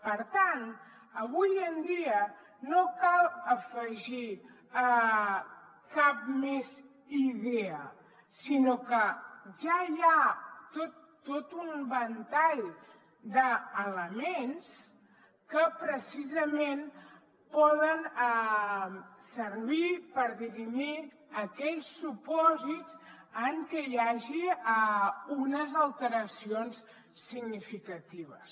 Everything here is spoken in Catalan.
per tant avui en dia no cal afegir cap més idea sinó que ja hi ha tot un ventall d’elements que precisament poden servir per dirimir aquells supòsits en què hi hagi unes alteracions significatives